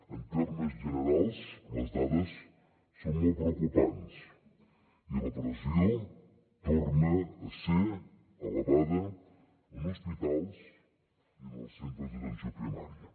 en termes generals les dades són molt preocupants i la pressió torna a ser elevada en hospitals i en els centres d’atenció primària